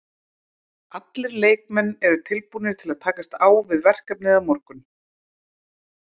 Allir leikmenn eru tilbúnir til að takast á við verkefnið á morgun.